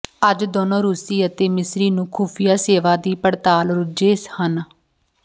ਅੱਜ ਦੋਨੋ ਰੂਸੀ ਅਤੇ ਮਿਸਰੀ ਨੂੰ ਖੁਫੀਆ ਸੇਵਾ ਦੀ ਪੜਤਾਲ ਰੁੱਝੇ ਹਨ